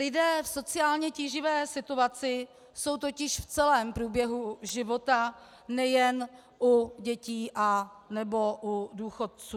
Lidé v sociálně tíživé situaci jsou totiž v celém průběhu života nejen u dětí anebo u důchodců.